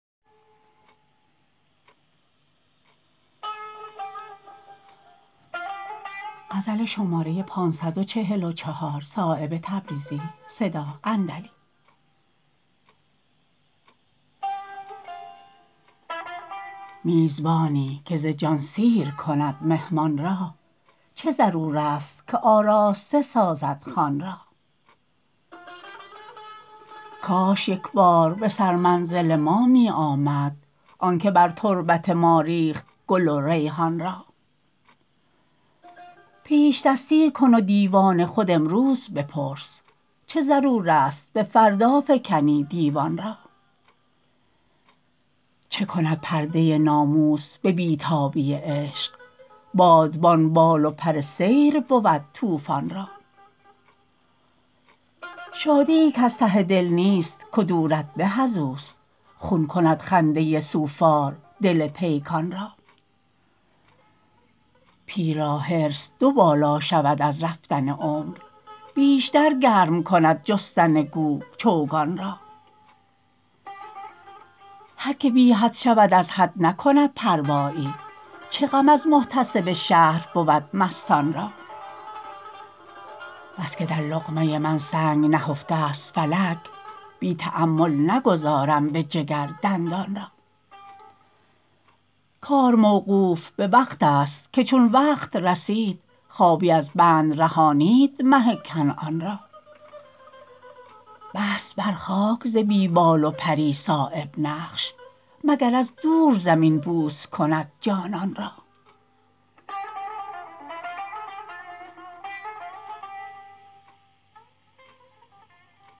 میزبانی که ز جان سیر کند مهمان را چه ضرورست که آراسته سازد خوان را کاش یک بار به سر منزل ما می آمد آن که بر تربت ما ریخت گل و ریحان را پیشدستی کن و دیوان خود امروز بپرس چه ضرورست به فردا فکنی دیوان را چه کند پرده ناموس به بی تابی عشق بادبان بال و پر سیر بود طوفان را شادیی کز ته دل نیست کدورت به ازوست خون کند خنده سوفار دل پیکان را پیر را حرص دوبالا شود از رفتن عمر بیشتر گرم کند جستن گو چوگان را هر که بی حد شود از حد نکند پروایی چه غم از محتسب شهر بود مستان را بس که در لقمه من سنگ نهفته است فلک بی تأمل نگذارم به جگر دندان را کار موقوف به وقت است که چون وقت رسید خوابی از بند رهانید مه کنعان را بست بر خاک ز بی بال و پری صایب نقش مگر از دور زمین بوس کند جانان را